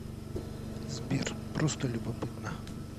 сбер просто любопытно